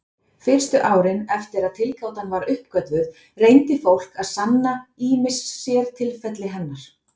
Fyrstu árin eftir að tilgátan var uppgötvuð reyndi fólk að sanna ýmis sértilfelli hennar.